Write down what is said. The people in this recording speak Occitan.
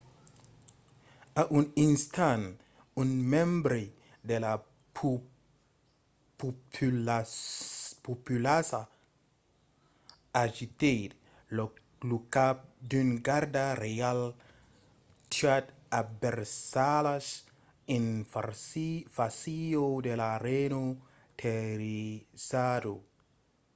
a un instant un membre de la populaça agitèt lo cap d’un garda reial tuat a versalhas en fàcia de la reina terrorizada